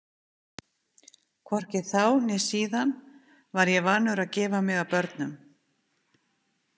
Hvorki þá né síðan var ég vanur að gefa mig að börnum.